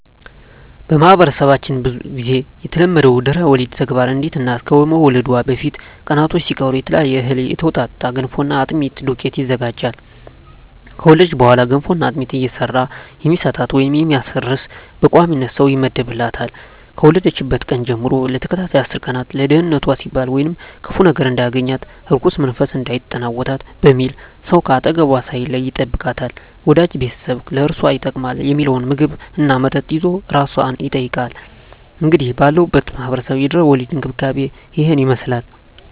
በማህበረሰባችን ብዙ ግዜ የተለመደው የድህረ ወሊድ ተግባር አንዲት እናት ከመውለዷ በፊት ቀናቶች ሲቀሩ ከተለያየ እህል የተውጣጣ የገንፎና የአጥሚት ዱቄት ይዘጋጃል። ከወለደች በኋላ ገንፎና አጥሚት እየሰራ የሚሰጣት ወይም የሚያርስ በቋሚነት ሰው ይመደብላታል፣ ከወለደችበት ቀን ጀም ለተከታታይ አስር ቀን ለደንነቷ ሲባል ወይም ክፉ ነገር እንዳያገኛት(እርኩስ መንፈስ እንዳይጠናወታት) በሚል ሰው ከአጠገቧ ሳይለይ ይጠብቃታል፣ ወዳጅ ቤተሰብ ለአራሷ ይጠቅማል ሚለውን ምግብ እና መጠጥ ይዞ አራሷን ይጠይቃል። እንግዲህ ባለሁበት ማህበረሰብ የድህረ ወሊድ እንክብካቤ እሂን ይመስላል።